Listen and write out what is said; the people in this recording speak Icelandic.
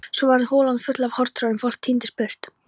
Svo varð holan full og harðtroðin, fólk tíndist burt.